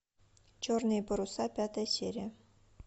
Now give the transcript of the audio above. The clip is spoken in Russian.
черные паруса пятая серия